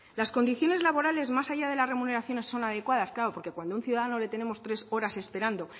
las condiciones laborales más allá de las remuneraciones son adecuadas claro porque cuando a un ciudadano le tenemos tres horas esperando